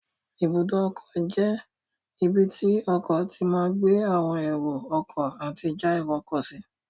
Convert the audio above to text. Ibùdó ọkọ̀ jẹ́ ibi tí ọkọ̀ tí máa gbé àwọn èrò ọkọ̀ àti já èrò sí